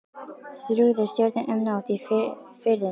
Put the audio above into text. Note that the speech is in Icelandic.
Þrúði stjörnur um nótt í Firðinum.